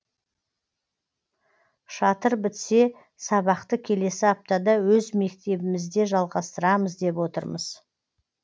шатыр бітсе сабақты келесі аптада өз мектебімізде жалғастырамыз деп отырмыз